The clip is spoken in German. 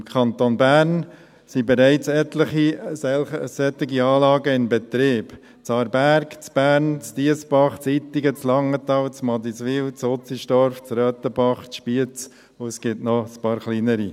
Im Kanton Bern sind bereits etliche solche Anlagen im Betrieb: in Aarberg, Bern, Diessbach, Ittigen, Langenthal, Madiswil, Utzenstorf, Röthenbach und Spiez, und es gibt noch ein paar kleinere.